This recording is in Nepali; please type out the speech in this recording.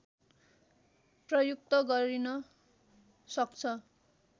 प्रयुक्त गरिन सक्छ